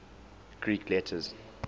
greek letters